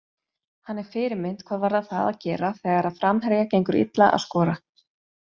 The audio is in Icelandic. Hann er fyrirmynd hvað varðar það að gera þegar framherja gengur illa að skora.